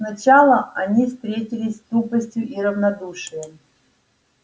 сначала они встретились с тупостью и равнодушием